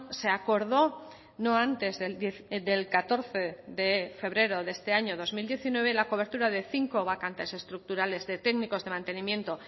se acordó no antes del catorce de febrero de este año dos mil diecinueve la cobertura de cinco vacantes estructurales de técnicos de mantenimiento